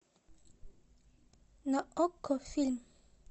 на окко фильм